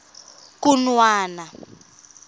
khunwana